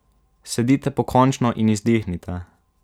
Sedite pokončno in izdihnite.